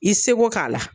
I seko k'a la